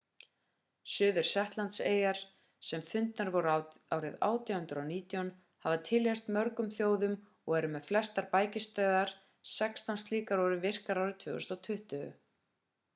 suðu-shetlandseyjar sem fundnar voru árið 1819 hafa tilheyrt mörgum þjóðum og eru með flestar bækistöðvar sextán slíkar voru virkar árið 2020